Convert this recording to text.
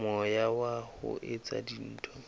moya wa ho etsa dintho